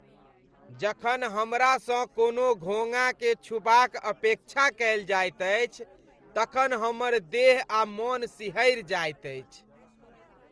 जखन हमरासँ कोनो घोङ्घाकेँ छूबाक अपेक्षा कयल जाइत अछि तखन हमर देह आ मन सिहरि जाइत अछि।